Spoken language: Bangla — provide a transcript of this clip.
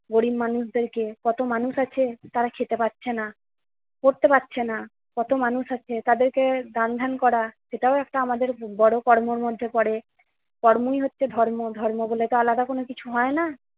গরিব মানুষদেরকে কত মানুষ আছে তারা খেতে পারছে না, পড়তে পারছে না, কত মানুষ আছে তাদেরকে ধ্যান ধ্যান করা সেটাও আমাদের বড় কর্মের মধ্যে পড়ে। কর্মই হচ্ছে ধর্ম, ধর্ম বলে তো আলাদা কোন কিছু হয় না।